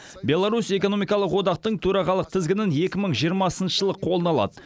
беларусь экономикалық одақтың төрағалық тізгінін екі мың жиырмасыншы жылы қолына алады